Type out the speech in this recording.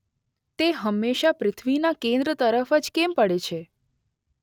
તે હંમેશા પૃથ્વીના કેન્દ્ર તરફ જ કેમ પડે છે?